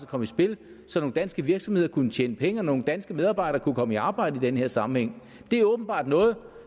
komme i spil så nogle danske virksomheder kunne tjene penge og nogle danske medarbejdere kunne komme i arbejde i den her sammenhæng det er åbenbart noget